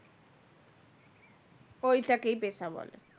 ওইটাকেই পেশা বলে।